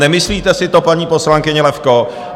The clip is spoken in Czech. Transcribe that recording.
Nemyslíte si to, paní poslankyně Levko?